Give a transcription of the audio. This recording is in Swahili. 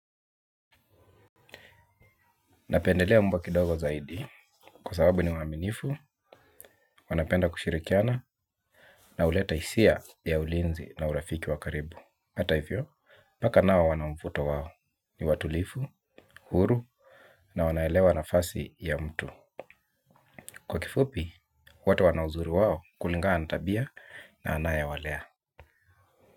Napendelea mbwa kidogo zaidi kwa sababu ni waminifu, wanapenda kushirikiana na uleta isia ya ulinzi na urafiki wakaribu. Hata ifyo, paka nao wanamvuto wawo ni watulifu, huru na wanaelewa nafasi ya mtu. Kwa kifupi, wote wana uzuri wawo kulingana tabia na anayawalea.